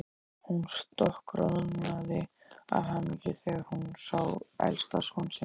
Hún stokkroðnaði af hamingju þegar hún sá elsta son sinn.